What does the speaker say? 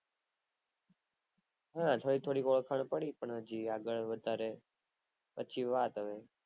હા થોડીક થોડીક ઓળખાણ પડી પણ હજી આગળ વધારે પછી વાત હવે